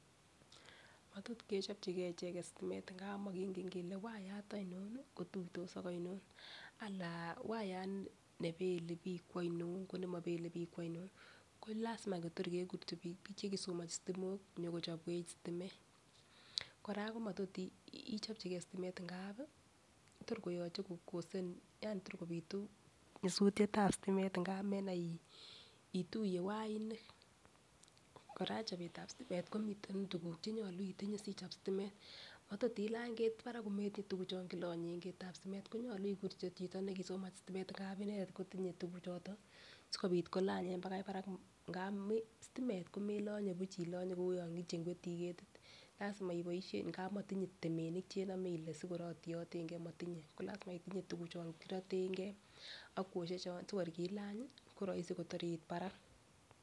Motot kechopchigee echet stimat ngap mokingen kele wayat oinon kotuitos ak oino anan wayat nebele bik kwoino ko nemobele bik kwoino ko lasima Kotor kekur bik chekisomonchi sitimok konyokochopwech stimet. koraa ko matot ichopchigee stimet ngapi Tor koyoche kokosen yani tor kopitu nyosutyet tab stimet ngap menai ituye wainik. Koraa chobetab stimet komiten tukuk chenyolu itinye sichob stimet. Matot ilany ketit barak kometinyee tukuk chon kilonyen ketitab stimet konyolu kityok chito nekisomovhi stimet ngap inendet kotinye tukuk choton sikopit kolanyen bakai barak ngap stimet komelonye buch kou yon ichengwetii ketit lasima iboishen ngap motinye temenik Ile sikor otiyotengee motinyee ko lasima itinye tukuk chon kirotengee ak kwoshek chon sikor kiilanyi koroisi Kotor it barak.